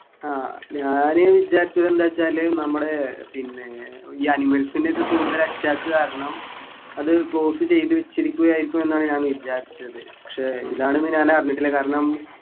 ആഹ് ഞാന് വിചാരിച്ചു വല്ല ച്ചാല് നമ്മുടെ പിന്നെ ഈ animals നെ ഒക്കെ കൂടുതൽ attack കാരണം അത് close ചെയ്ത് വെച്ചിരിക്കുകയായിരിക്കും എന്നാണ് ഞാൻ വിചാരിച്ചത് പക്ഷെ ഇതാണെന്നു ഞാൻ അറിഞ്ഞിട്ടില്ല കാരണം